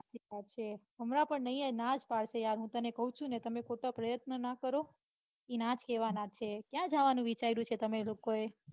સાવ સાચી વાત છે હમણાં પણ નઈ ના જ પડશે યાર હું તને કૌ છું ને તમે ખોટા પ્રયત્નો ના કરો ઈ ના જ કેવાના છે. ક્યાં જવાનું વિચાર્યું છે તમે લોકોએ.